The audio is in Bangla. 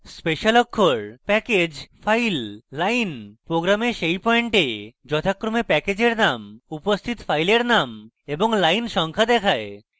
special অক্ষর package file line program সেই পয়েন্টে যথাক্রমে প্যাকেজের name উপস্থিত file name এবং line সংখ্যা দেখায়